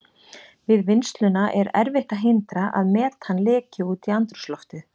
Við vinnsluna er erfitt að hindra að metan leki út í andrúmsloftið.